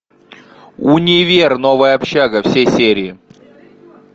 универ новая общага все серии